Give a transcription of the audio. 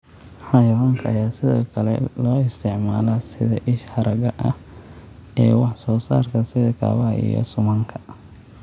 Xayawaanka ayaa sidoo kale loo isticmaalaa sida isha haragga ah ee wax soo saarka sida kabaha iyo suumanka.